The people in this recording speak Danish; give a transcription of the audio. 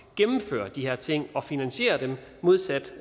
gennemfører de her ting og finansierer dem modsat